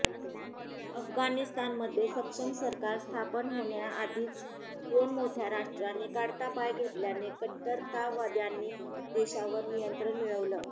अफगाणिस्तानमध्ये सक्षम सरकार स्थापन होण्याआधीच दोन मोठ्या राष्ट्रांनी काढता पाय घेतल्याने कट्टरतावद्यांनी देशावर नियंत्रण मिळवलं